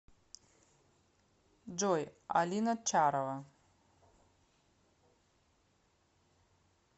джой алина чарова